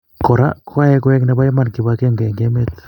Kora koyae koek nebo iman kibagenge eng' emet